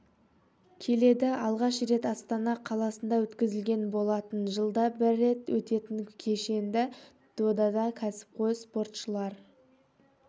келеді алғаш рет астана қаласында өткізілген болатын жылда бір рет өтетін кешенді додада кәсіпқой спортшылар